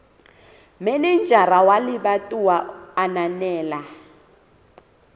manejara wa lebatowa a ananela